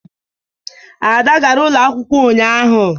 Ada gara ụlọ akwukwo ụnyaahụ.